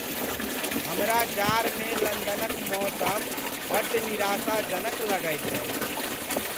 हमरा जाड़मे लन्दनक मौसम बड्ड निराशाजनक लगैत अछि।